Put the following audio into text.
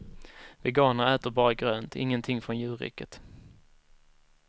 Veganer äter bara grönt, ingenting från djurriket.